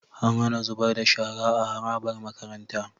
An HAna zubar da shara a harabar makaranta